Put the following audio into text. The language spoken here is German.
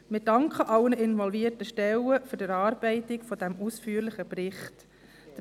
Wir danken allen involvierten Stellen für die Erarbeitung dieses ausführlichen Berichts.